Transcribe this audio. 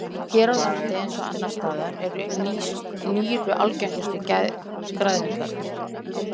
Hér á landi eins og annars staðar eru nýru algengustu græðlingarnir.